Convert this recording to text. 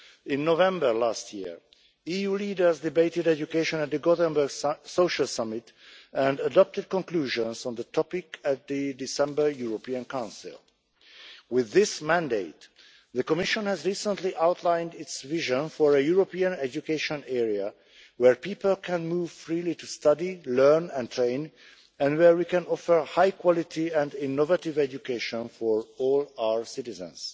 In November last year, EU leaders debated education at the Gothenburg Social Summit and adopted conclusions on the topic at the December European Council. With this mandate, the Commission has recently outlined its vision for a European education area where people can move freely to study, learn and train, and where we can offer high quality and innovative education for all our citizens.